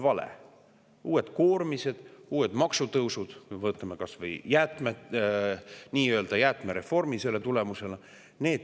Tulevad uued koormised, uued maksutõusud, võtame kas või nii-öelda jäätmereformi tulemusena.